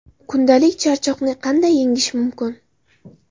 Kundalik charchoqni qanday yengish mumkin?.